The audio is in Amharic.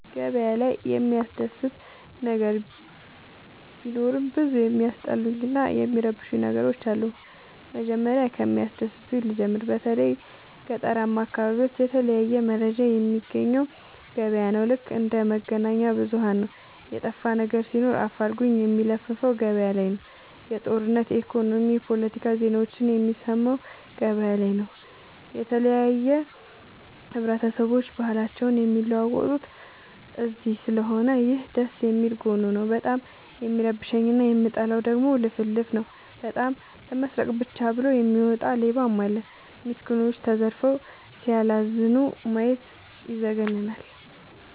ገበያ ላይ የሚያስደስ ነገር ቢኖርም ብዙ የሚያስጠሉኝ እና የሚረብሸኝ ነገሮች አሉ። መጀመሪያ ከሚያስደስተኝ ልጀምር በተለይ ገጠራማ አካቢዎች የተለያየ መረጃ የሚያገኘው ገበያ ነው። ልክ እንደ መገናኛብዙኋን ነው የጠፋነገር ሲኖር አፋልጉኝ የሚለፍፈው ገበያላይ ነው። የጦርነት የኢኮኖሚ የፓለቲካ ዜናዎችን የሚሰማው ገበያ ላይ ነው። የተለያየ ብሆረሰቦች ባህልአቸውን የሚለዋወጡት እዚስለሆነ ይህ ደስየሚል ጎኑ ነው። በጣም የሚረብሸኝ እና የምጠላው ደግሞ ልፍልፍ ነው። በጣም ለመስረቃ ብቻ ብሎ የሚወጣ ሌባም አለ። ሚስኩኖች ተዘርፈው ሲያላዝኑ ማየት ይዘገንናል።